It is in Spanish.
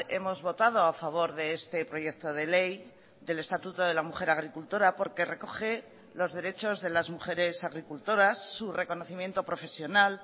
hemos votado a favor de este proyecto de ley del estatuto de la mujer agricultora porque recoge los derechos de las mujeres agricultoras su reconocimiento profesional